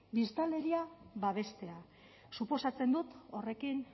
biztanleria babestea suposatzen dut horrekin